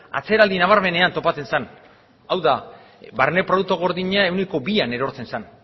atzeraldi nabarmenean topatzen zen hau da barne produktu gordina ehuneko bian ezartzen zen